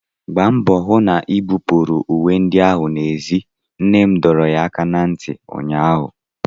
Gbaa mbọ hụ na-ibupuru uwe ndị ahụ n'èzí! nne m dọrọ ya aka ná ntị ụnyaahụ!